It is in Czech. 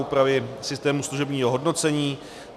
Úpravy systému služebního hodnocení.